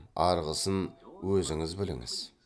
арғысын өзіңіз біліңіз